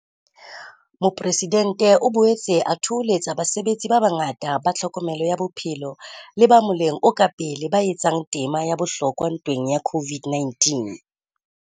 Mopresidentse o boetse a thoholetsa basebetsi ba bangata ba tlhokomelo ya bophelo le ba moleng o ka pele ba etsang tema ya bohlokwa ntweng ya COVID-19.